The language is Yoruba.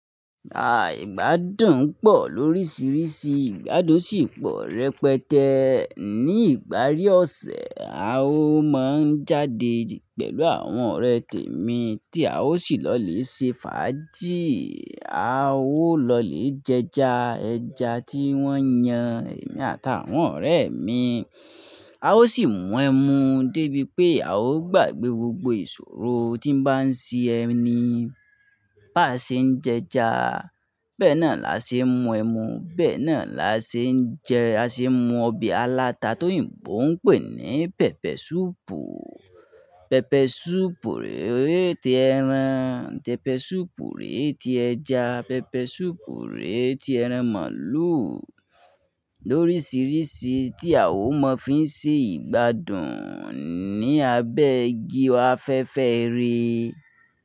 Àìgbàdùn pọ̀ lóríṣiríṣi, ìgbádùn sì pọ̀ rẹpẹtẹ. Ní ìparí ọ̀sẹ̀, a ó máa ń jáde pẹ̀lú àwọn ọ̀rẹ́ tèmi tí a ó sì lọ lè ṣe fàájì, a ó lọ lè jẹja ẹja tí wọ́n yan, èmi àtàwọn ọ̀rẹ́ mi. A ó sì mu ẹmu débi pé a ó gbàgbé gbogbo ìṣòro tí ń bá ń ṣẹ eni. Bá ṣe ń jẹja, bẹ́ẹ̀ náà la ṣe ń mu ẹmu, bẹ́ẹ̀ náà la ṣe ń jẹ, a ṣe ń mu ọbẹ̀ aláta t'oyinbo ń pè ní pẹpẹsúùpù. Pẹpẹsúùpù rèé tí ẹran, pẹpẹsúùpù rèé tí ẹja, pẹpẹsúùpù rèé tí ẹran màlúù. Lóríṣiríṣi tí a ó máa fi ń ṣe ìgbádùn ni abẹ́ igi afẹ́fẹ́ ire.